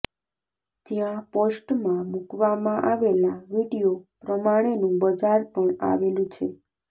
જ્યાં પોસ્ટમાં મૂકવામાં આવેલા વીડિયો પ્રમાણેનું બજાર પણ આવેલું છે